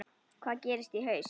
Hvað gerist í haust?